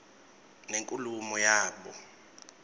nenkulumo yabo